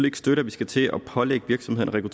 ikke støtte at vi skal til at pålægge virksomheder at